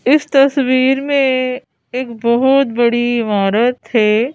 इस तस्वीर में एक बहुत बड़ी इमारत है।